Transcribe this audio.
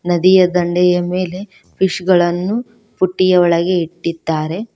ನದಿಯ ದಂಡೆಯ ಮೇಲೆ ಫಿಶ್ ಗಳನ್ನು ಬುಟ್ಟಿಯ ಒಳಗೆ ಇಟ್ಟಿದ್ದಾರೆ.